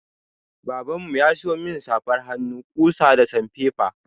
Baban mu ya siyo min safar hannu, ƙusa da sanfefa.